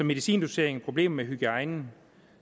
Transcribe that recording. medicindosering og problemer med hygiejnen